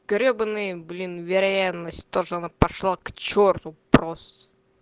гребаный блин вероятность того что она пошла к черту просто